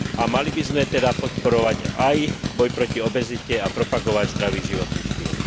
Mali by sme teda podporovať aj boj proti obezite a propagovať zdravý životný štýl.